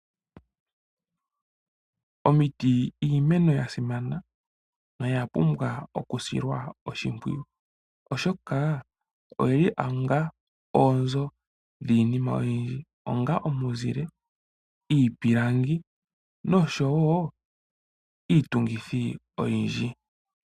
Omiti, iimeno ya simana noya pumbwa okusilwa oshimpwiyu, oshoka oyi li onga oonzo dhiinima oyindji onga omuzile ,iipilangi noshowo iitungithi oyindji.